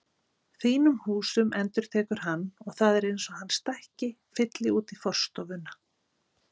Þínum húsum endurtekur hann og það er eins og hann stækki, fylli út í forstofuna.